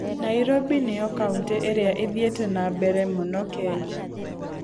Nairobi nĩyo Kauntĩ ĩrĩa ĩthiĩte na mbere mũno Kenya.